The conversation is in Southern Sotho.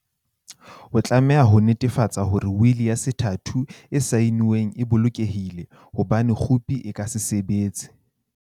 O tlameha ho netefatsa hore wili ya sethatho e saenweng e bolokehile, ho bane khopi e ka se sebetse.